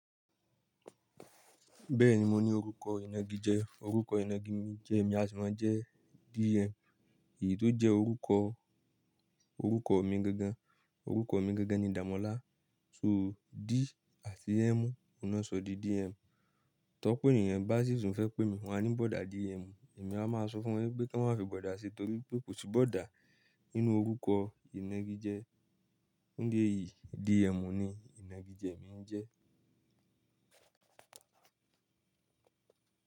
Bẹ́ẹ̀ni mo ní orúkọ ìnagijẹ orúkọ ìnagijẹ mi jẹ́ mi a sì máa jẹ́ DM èyí tó jẹ́ orúkọ, orúkọ mi gangan orúkọ mi gangan ni Dàmọ́lá. So D àti m, ọ̀un ló sọ di DM. Ti ọ̀pọ̀ ènìyàn bá sì tún fẹ́ pè mí wọ́n á ní broda DM èmi á máa sọ fún wọn wípé kí wón má fi broda ṣi torípé kò sí broda nínú orúkọ ìnagijẹ. Fún ìdí èyí DM ni ìnagijẹ mi ń jẹ́.